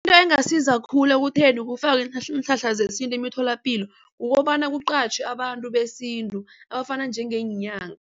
Into engasiza khulu ekutheni ukufakwe iinhlahla iinhlahla zesintu emitholapilo kukobana kuqatjhwe abantu besintu abafana njengeenyanga.